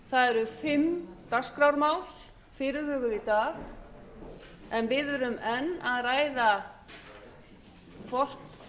það eru fimm dagskrármál fyrirhuguð í dag en við erum enn að ræða hvort